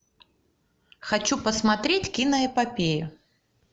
хочу посмотреть киноэпопею